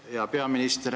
Härra peaminister!